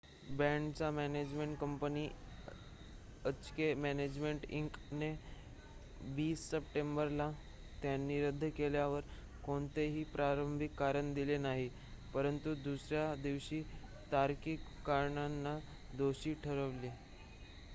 बँडच्या management company HK management Inc ने 20 सप्टेंबरला त्यांनी रद्द केल्यावर कोणतेही प्रारंभिक कारण दिले नाही परंतु दुसर्‍या दिवशी तार्किक कारणांना दोषी ठरविले